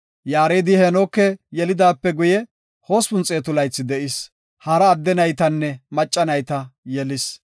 Yaaredi Heenoke yelidaape guye, 800 laythi de7is. Hara adde naytanne macca nayta yelis.